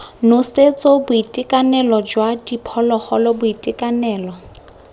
nosetso boitekanelo jwa diphologolo boitekanelo